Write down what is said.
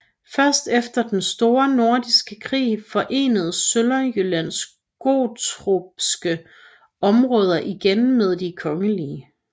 Først efter den Store Nordiske Krig forenedes Sønderjyllands gottorpske områder igen med de kongelige